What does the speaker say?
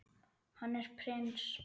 Hann er prins.